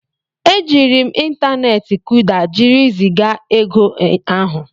E jiiri m ịntaneti Kuda jiri zigaa ego ahụ.